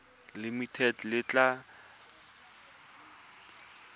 limited le tla tlhagelela kwa